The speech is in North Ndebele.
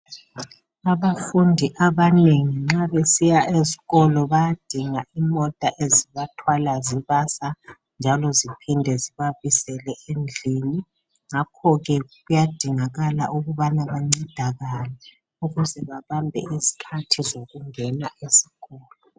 Abafundi abanengi nxa besiya ezikolo bayadinga imota ezibathwala zibasa njalo ziphinde zibabisele endlini. Ngakho kuyadingakala ukuthi bancedakale ukuze babambe izikhathi zokungena esikolo.